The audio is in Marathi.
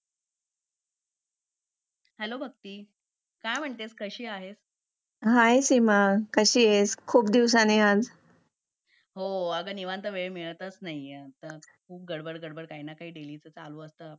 हॅलो भक्ती काय म्हणतेस कशी आहेस हाय सीमा कशी आहेस खूप दिवसांनी आज हो अग निवांत वेळ मिळतच नाही आता खूप गडबड गडबड काही ना काही चालू असतंहाय